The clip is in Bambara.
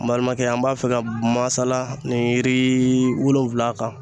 N balimakɛ an b'a fɛ ka masala ni yiri wolonwula kan